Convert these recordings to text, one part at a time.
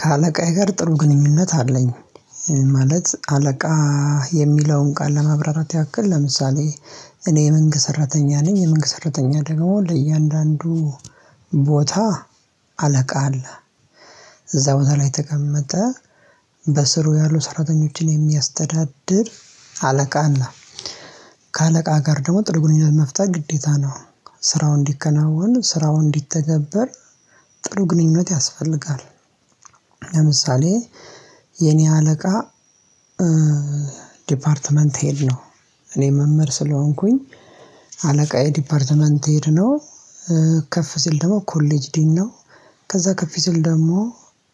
ከአለቃዬ ጋር ጥሩ ግንኙነት አለኝ። ማለት አለቃ የሚለውን ቃል ለመብራራት ያክል ለምሳሌ እኔ መንግስት ሰራተኛ ነኝ። የመንግስት ሰራተኛ ደግሞ ለእያንዳንዱ ቦታ አለቃ አለ። እዛ ቦታ ላይ ተቀመጠ። በስሩ ያሉ ሰራተኞችን የሚያስተዳድር አለቃ አለ። ከአለቃ ጋር ደግሞ ጥሩ ግንኙነት መፍታት ግዴታ ነው። ስራው እንዲከናወን ስራው እንዲተገበር ጥሩ ግንኙነት ያስፈልጋል። ለምሳሌ የኔ አለቃ ዲፓርትመንት ሄድ ነው። እኔ መምህር ስለሆንኩኝ አለቃየ የዲፓርትመንት ሄድ ነው። ከፍ ሲል ደግሞ ኮሌጅ ዲን ነው። ከዛ ከፍ ሲል ደግሞ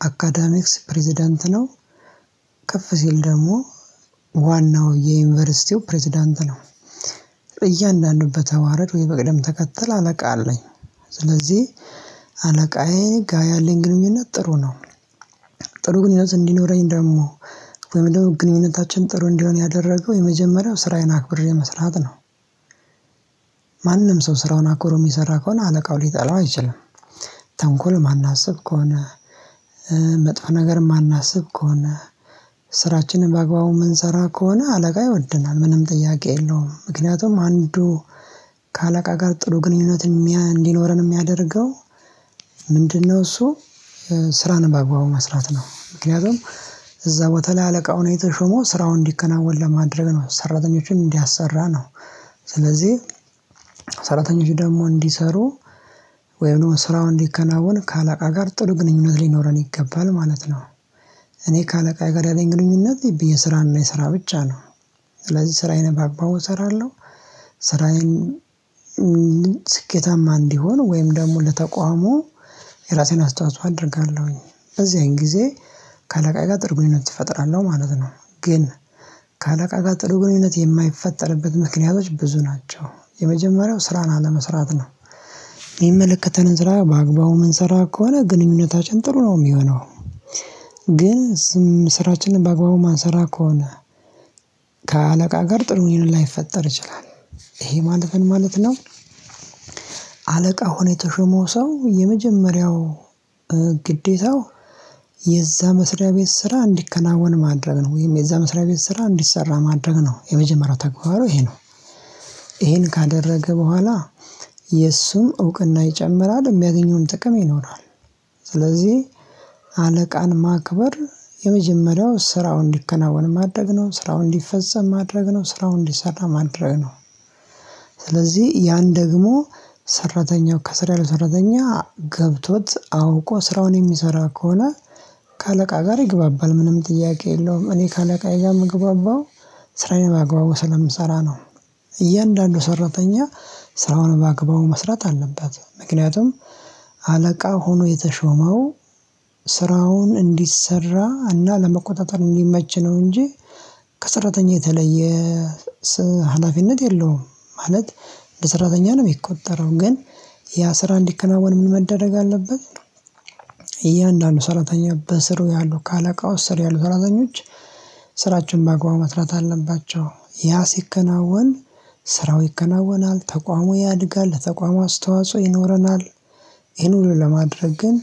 አካዳሚክስ ፕሬዝዳንት ነው። ከፍ ሲል ደግሞ ዋናው የዩኒቨርሲቲው ፕሬዝዳንት ነው እያንዳንዱን በተዋረድ ወይ በቅደም ተከተል አለቃ አለኝ። ስለዚህ አለቃዬጋ ያለኝ ግንኙነት ጥሩ ነው። ጥሩ ግንኙነት እንዲኖረኝ ደግሞ ወይም ደግሞ ግንኙነታችን ጥሩ እንዲሆን ያደረገው የመጀመሪያው ስራዬን አክብሬ መስራት ነው። ማንም ሰው ስራውን አኩሮ የሚሰራ ከሆነ አለቃው ሊጠላው አይችልም። ተንኮል ማን አስብ ከሆነ። መጥፎ ነገር ማን አስብ ከሆነ። ስራችንን በአግባቡ የምንሰራ ከሆነ አለቃ ይወድናል ምንም ጥያቄ የለውም። ምክንያቱም አንዱ ከአለቃ ጋር ጥሩ ግንኙነት እንዲኖረን የሚያደርገው ምንድነው? እሱ ስራን ባግባቡ መስራት ነው። ምክንያቱም እዛ በተለይ አለቃው የተሾሞው ስራውን እንዲከናወን ለማድረግ ነው ሰራተኞችን እንዲያሰራ ነው። ስለዚህ ሰራተኞች ደግሞ እንዲሰሩ ወይም ስራውን እንዲከናወን ከአለቃ ጋር ጥሩ ግንኙነት ሊኖረን ይገባል ማለት ነው። እኔ ከአለቃ የጋራ ያለኝ ግንኙነት የስራና የስራ ብቻ ነው። ስለዚህ ስራዬን በአግባቡ እሰራለሁ። ስራዬን ስኬታማ እንዲሆን ወይም ደግሞ ለተቋሙ የራሴን አስተዋጽኦ አደርጋለሁኝ። በዚያን ጊዜ ከአለቃይ ጋር ጥርጉኝነት እፈጥራለሁ ማለት ነው። ግን ከአለቃይ ጋር ጥርጉኝነት የማይፈጠርበት ምክንያቶች ብዙ ናቸው። የመጀመሪያው ስራን አለመስራት ነው። የሚመለከተንን ስራ በአግባቡ የምንሰራ ከሆነ ግንኙነታችን ጥሩ ነው የሚሆነው። ግን ስራችንን በአግባቡ ማንሰራ ከሆነ። ከአለቃ ጋር ጥሩን ላይፈጠር ይችላል። ይሄ ማለት ምን ማለት ነው? አለቃ ሆኖ የተሾመው ሰው የመጀመሪያው ግዴታው የዛ መስሪያ ቤት ስራ እንዲከናወን ማድረግ ነው ወይም የዛ መስሪያ ቤት ስራ እንዲሰራ ማድረግ ነው የመጀመሪያው ተግባሩ ይሄ ነው። ይሄን ካደረገ በኋላ የእሱም እውቅና ይጨምራል የሚያገኘውን ጥቅም ይኖራል። ስለዚህ አለቃን ማክበር የመጀመሪያው ስራውን እንዲከናወን ማድረግ ነው ስራውን እንዲፈጸም ማድረግ ነው ስራውን እንዲሰራ ማድረግ ነው። ስለዚህ ያን ደግሞ ሰራተኛው ከስር ያሉ ሰራተኛ ገብቶት አውቆ ስራውን የሚሰራ ከሆነ። ከአለቃ ጋር ይግባባል ምንም ጥያቄ የለውም። እኔ ከአለቃዬ ጋር የምግባባው ስራዬን ባግባባት ስለምሰራ ነው። እያንዳንዱ ሰራተኛ ስራውን በአግባቡ መስራት አለበት። ምክንያቱም አለቃ ሆኖ የተሾመው ስራውን እንዲሰራ እና ለመቆጣጠር እንዲመች ነው እንጂ ከሰራተኛ የተለየ ሀላፊነት የለውም። ማለት ለሰራተኛ ነው የሚቆጠረው ግን ያ ስራ እንዲከናወን ምን መደረግ አለበት? እያንዳንዱ ሰራተኛ በስሩ ያሉ ከአለቃው ስር ያሉ ሰራተኞች ስራችን በአግባቡ መትራት አለባቸው ያ ሲከናወን ስራው ይከናወናል ተቋሙ ያድጋል ለተቋም አስተዋጽኦ ይኖረናል። ይሄን ሁሉ ለማድረግ ግን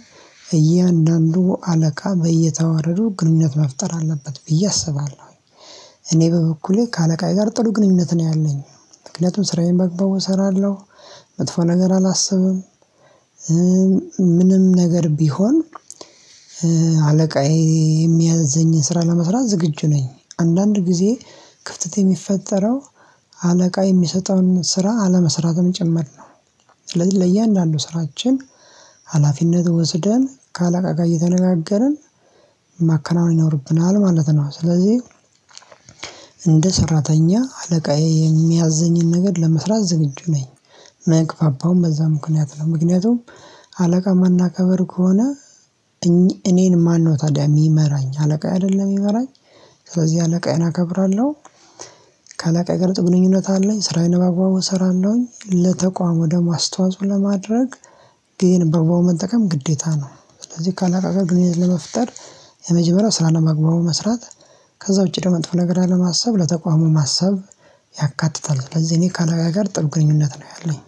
እያንዳንዱ አለቃ በየተዋረዱ ግንኙነት መፍጠር አለበት ብዬ አስባለሁ። እኔ በበኩሌ ከአለቃዬ ጋር ጥሩ ግንኙነት ነው ያለኝ ምክንያቱም ስራዬን ባግባቡ እሰራለሁ። መጥፎ ነገር አላስብም። ምንም ነገር ቢሆን አለቃዬ የሚያዝኝን ስራ ለመስራት ዝግጁ ነኝ አንዳንድ ጊዜ ክፍተት የሚፈጠረው አለቃ የሚሰጠውን ስራ አለመስራትም ጭምር ነው። ስለዚህ ለየአንዳንዱ ስራችን ሀላፊነት ወስደን ከአለቃጋ እየተነጋገርን ማከናወን ይኖርብናል ማለት ነው። ስለዚህ እንደ ሰራተኛ አለቃዬ የሚያዝዘኝን ነገር ለመስራት ዝግጁ ነኝ። ምግባባውም በዛ ምክንያት ነው ምክንያቱም አለቃ የማናከብር ከሆነ። እኔን ማነው ታዲያ የሚመራኝ አለቃዬ አይደለም የሚመራኝ። ስለዚህ አለቃዬን አከብራለሁ። ከአለቃዬ ጋር ጥሩ ግንኙነት አለኝ። ስራዬን በአግባቡ እሰራለሁኝ ለተቋም ደም ኣስተዋጽኦ ለማድረግ ግዜን በአግባቡ መጠቀም ግዴታ ነው። ስለዚህ ከአቃጋ ግንኙነት ለመፍጠር የመጀመሪያው ስራህን በአግባቡ መስራት ከዛ ውጪ ደግሞ መጥፎ ነገር አለማሰብ ለተቋሙ ማሰብ ያካትታል። ስለዚህ እኔ ከአለቃየ ጋር ጥሩ ግንኙነት ነው ያለኝ።